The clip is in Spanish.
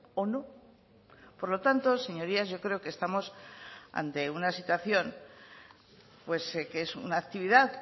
o no por lo tanto señorías yo creo que estamos ante una situación que es una actividad